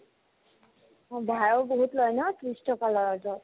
সদাই বহুত লয় ন ত্ৰিশ টকা লয় অ'টোত